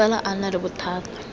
fela a nna le bothata